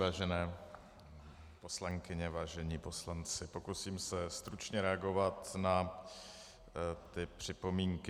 Vážené poslankyně, vážení poslanci, pokusím se stručně reagovat na ty připomínky.